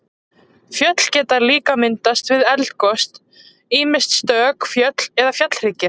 Fjöll geta líka myndast við eldgos, ýmist stök fjöll eða fjallhryggir.